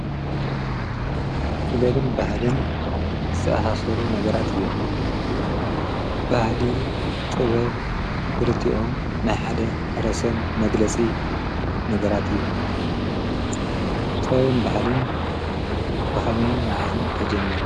ባህልን ጥበብን ዘይነፃፀሉ ናይ ሓንቲ ሳንቲም ክልተ ገፃት እዮም። ባህሊ ማለት ካብ ውልድ ወለዶ እንዳተወራረሰ ዝመፅእ እንትኸውን ጥበብ ከዓ ብልምዲ ዝስርሑ ውፂኢት ምህዞ እዩ።